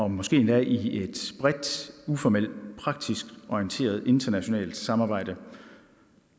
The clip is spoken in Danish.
måske endda i et bredt uformelt og praktisk orienteret internationalt samarbejde